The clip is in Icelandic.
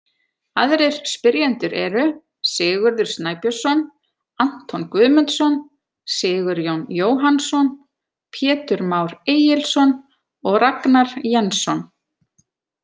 Aðrir spyrjendur eru: Sigurður Snæbjörnsson, Anton Guðmundsson, Sigurjón Jóhannsson, Pétur Már Egilsson og Ragnar Jensson.